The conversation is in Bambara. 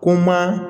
Ko n ma